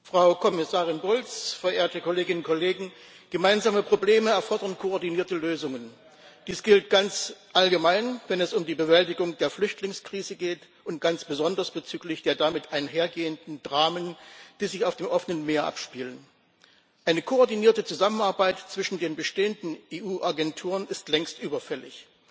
Frau Präsidentin, Frau Kommissarin Bulc, verehrte Kolleginnen und Kollegen! Gemeinsame Probleme erfordern koordinierte Lösungen. Dies gilt ganz allgemein, wenn es um die Bewältigung der Flüchtlingskrise geht, und ganz besonders bezüglich der damit einhergehenden Dramen, die sich auf dem offenen Meer abspielen. Eine koordinierte Zusammenarbeit zwischen den bestehenden EU Agenturen ist längst überfällig.